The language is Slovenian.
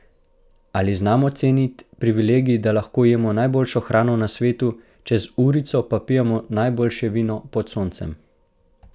Ali znamo ceniti privilegij, da lahko jemo najboljšo hrano na svetu, čez urico pa pijemo najboljše vino pod soncem?